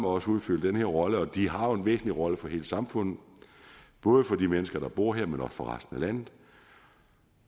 os udfylde den her rolle de har en væsentlig rolle for hele samfundet både for de mennesker der bor der men også for resten af landet